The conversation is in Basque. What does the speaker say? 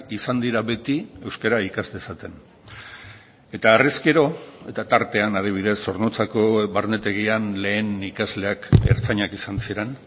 izan dira beti euskara ikas dezaten eta harrezkero eta tartean adibidez zornotzako barnetegian lehen ikasleak ertzainak izan ziren